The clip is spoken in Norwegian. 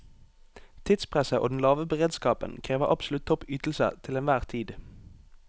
Tidspresset og den lave beredskapen krever absolutt topp ytelse til enhver tid.